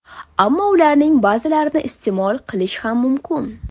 Ammo ularning ba’zilarini iste’mol qilish ham mumkin.